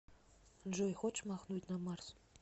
джой хочешь махнуть на марс